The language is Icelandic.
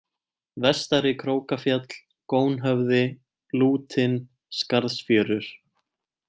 Vestarikrókafjall, Gónhöfði, Lútin, Skarðsfjörur